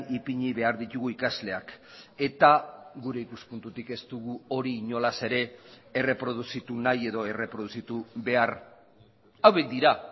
ipini behar ditugu ikasleak eta gure ikuspuntutik ez dugu hori inolaz ere erreproduzitu nahi edo erreproduzitu behar hauek dira